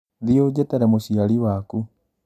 Thiĩ ũnjĩtĩre mũciari waku